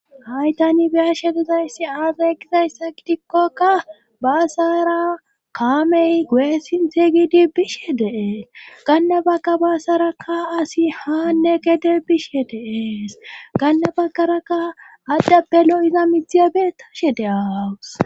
Haytani biyashe duzayssi aazegizayssa kitikkokka baasara kaamey go'e sintheygidi bishe dees gannabagga baasarakka asi haanne gede bishe deeees ganna baggarakka adhappe lo'iza midthiyabee tashe de'aawus.